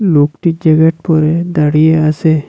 লোকটি জ্যাকেট পরে দাঁড়িয়ে আসে।